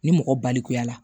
Ni mɔgɔ balikuya la